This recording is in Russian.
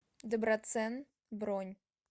доброцен бронь